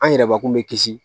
An yɛrɛbakun bɛ kisi